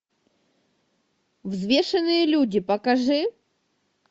взвешенные люди покажи